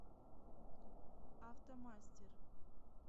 автомастер